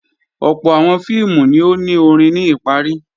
Ọ̀pọ̀ àwọn fíìmù ni ó ni orin ní ìparí